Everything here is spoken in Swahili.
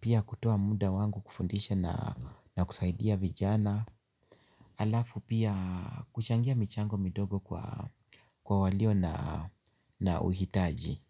Pia kutoa muda wangu kufundisha na kusaidia vijana. Halafu pia kuchangia michango midogo kwa walio na uhitaji.